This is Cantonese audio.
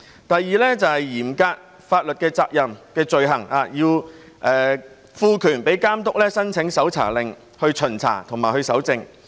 第二，是嚴格法律責任的罪行，要賦權予監督申請搜查令，以巡查和搜證。